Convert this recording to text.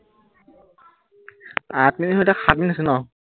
আঠ মিনিট নহয় এতিয়া সাত মিনিট হৈছিল ন